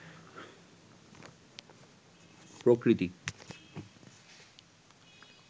প্রকৃতি